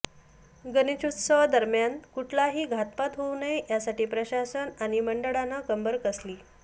गणेशोत्सवादरम्यान कुठलाही घातपात होऊ नये यासाठी प्रशासन आणि मंडळानं कंबर कसलीय